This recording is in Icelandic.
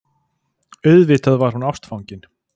Auðvitað var hún ástfangin.